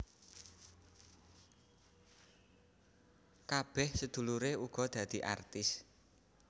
Kabeh sedulure uga dadi artis